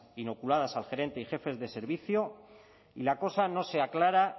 inoculadas al gerente y jefes de servicio y la cosa no se aclara